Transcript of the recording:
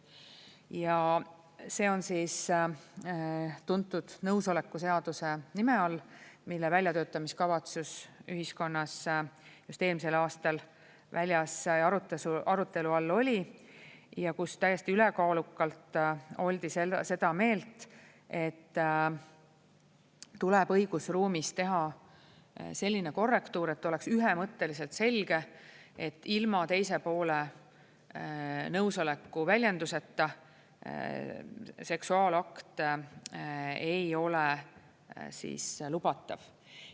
Ja see on tuntud nõusoleku seaduse nime all, mille väljatöötamiskavatsus ühiskonnas just eelmisel aastal väljas arutelu all oli ja kus täiesti ülekaalukalt oldi seda meelt, et tuleb õigusruumis teha selline korrektuur, et oleks ühemõtteliselt selge, et ilma teise poole nõusoleku väljenduseta seksuaalakt ei ole lubatav.